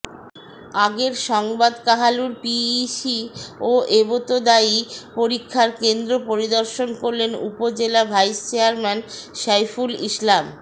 আগের সংবাদ কাহালুর পিইসি ও এবতেদায়ী পরীক্ষার কেন্দ্র পরিদর্শন করলেন উপজেলা ভাইস চেয়ারম্যান সাইফুল ইসলাম